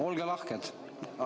Olge lahked?